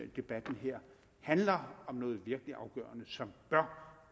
debatten her handler om noget virkelig afgørende som bør